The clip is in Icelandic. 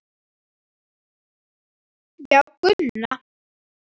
Já, Gunna.